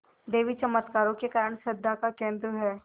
देवी चमत्कारों के कारण श्रद्धा का केन्द्र है